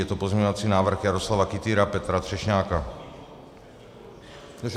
Je to pozměňovací návrh Jaroslava Kytýra, Petra Třešňáka.